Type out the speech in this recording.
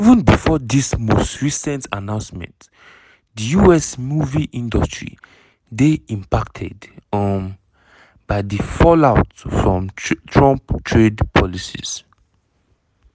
even bifor dis most recent announcement di us movie industry dey impacted um by di fallout from trump trade policies.